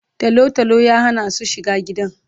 Talo talo ya hana su shiga gidan